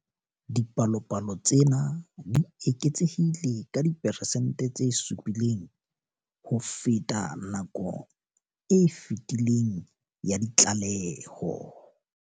Dipalopalo tsena di eketsehile ka diperesente tse 7 ho feta nakong e fetileng ya ditlaleho.